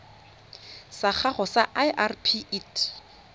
sa gago sa irp it